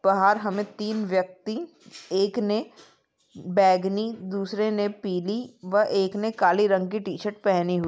बाहर हमे तीन व्यक्ति एक ने बेगनी दूसरे ने पीली व एक ने काले रंग की टीशर्ट पहनी हु --